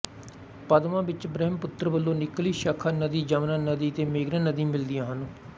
ਪਦਮਾ ਵਿੱਚ ਬਰਹਿਮਪੁਤਰ ਵਲੋਂ ਨਿਕਲੀ ਸ਼ਾਖਾ ਨਦੀ ਜਮਨਾ ਨਦੀ ਅਤੇ ਮੇਘਨਾ ਨਦੀ ਮਿਲਦੀਆਂ ਹਨ